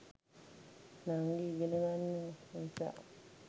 නංගි ඉගෙන ගන්න නිසා